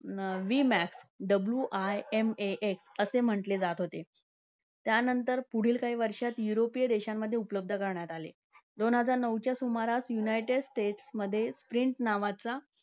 विमॅफ wimaf असे म्हटले जात होते. त्यांनतर पुढील काही वर्षांत युरोपीय देशांमध्ये उपलब्ध करण्यात आले. दोन हजार नऊच्या सुमारास युनायटेड स्टेट्समध्ये प्रिन्स नावाचा